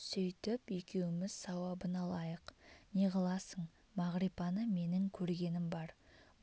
сөйтіп екеуміз сауабын алайық неғыласың мағрипаны менің көргенім бар